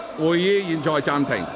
會議現在暫停。